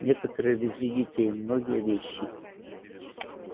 некоторые везли детей многие вещи